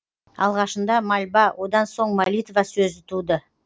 алғашында мольба одан соң молитва сөзі туды